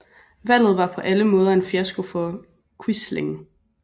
Valget var på alle måder en fiasko for Quisling